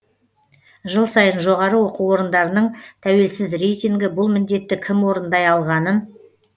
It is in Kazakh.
жыл сайын жоғары оқу орындарының тәуелсіз рейтингі бұл міндетті кім орындай алғанын